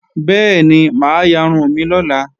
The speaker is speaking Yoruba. Bẹ́ẹ̀ni, mà á yarun mi lọ́la